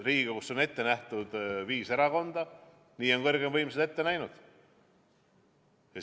Riigikogus on praegu viis erakonda, nii on kõrgeima võimu kandja ette näinud.